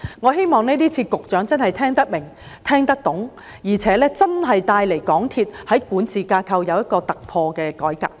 我希望局長今次聽得明白，聽得懂，而且真的為港鐵公司的管治架構帶來一個突破性改革。